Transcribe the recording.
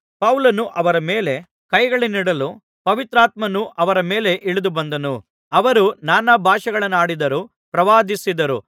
ಪೌಲನು ಅವರ ಮೇಲೆ ಕೈಗಳನ್ನಿಡಲು ಪವಿತ್ರಾತ್ಮನು ಅವರ ಮೇಲೆ ಇಳಿದುಬಂದನು ಅವರು ನಾನಾ ಭಾಷೆಗಳನ್ನಾಡಿದರು ಪ್ರವಾದಿಸಿದರು